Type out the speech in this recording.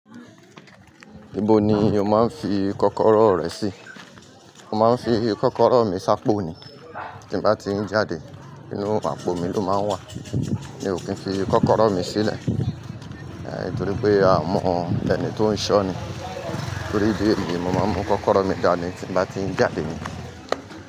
Ibo ni o máa ń fi kọ́kọ́rọ́ rẹ sí? Mo máa ń fi kọ́kọ́rọ́ mi sá p'òní. Tí bá ti ń jáde, inú àpò mi ló máa ń wà. Mi ò kí ń fi kọ́kọ́rọ́ mi sílẹ̀, torí pé aa mọ ẹni tó ń ṣọ́ ni. Torí idi eyi ni, mo máa ń mú kọ́kọ́rọ́ mi dani tí mbá ti ń jáde ni.